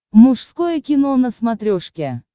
мужское кино на смотрешке